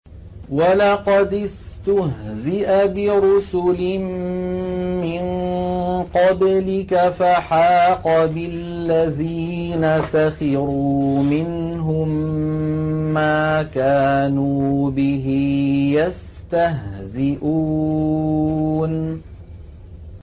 وَلَقَدِ اسْتُهْزِئَ بِرُسُلٍ مِّن قَبْلِكَ فَحَاقَ بِالَّذِينَ سَخِرُوا مِنْهُم مَّا كَانُوا بِهِ يَسْتَهْزِئُونَ